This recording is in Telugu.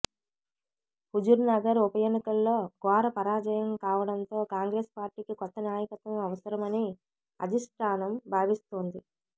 హుజుర్నగర్ ఉప ఎన్నికల్లో ఘోర పరాజయం కావడంతో కాంగ్రెస్ పార్టీకి కొత్త నాయకత్వం అవసరమని అధిష్ఠానం భావిస్తోంది